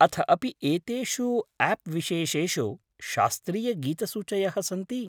अथ अपि एतेषु आप् विशेषेषु शास्त्रीयगीतसूचयः सन्ति?